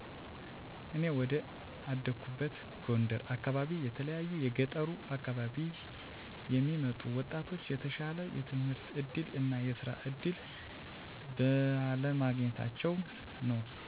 እኔ ወደ አደኩበት ጎንደር አካባቢ ከተለያዪ የገጠሩ አካባቢ የሚመጡ ወጣቶች የተሻለ የትምህርት እድል እና የስራ እድል በለማግኘታቸው ነው።